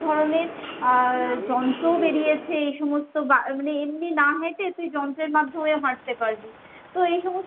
অনেক ধরণের আহ যন্ত্রও বেরিয়েছে, এই সমস্ত বা মানে এমনি না হেঁটে তুই যন্ত্রের মাধ্যমে হাঁটতে পারবি। তো এই সমস্ত